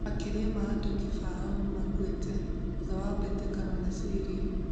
Makĩria ma andũ kĩbao nimakuĩte thutha wa bĩtĩkano na Syria.